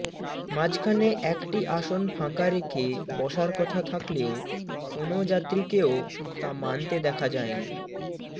মাঝখানে একটি আসন ফাঁকা রেখে বসার কথা থাকলেও কোনো যাত্রীকেও তা মানতে দেখা যায়নি